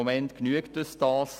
Im Moment genügt uns dies.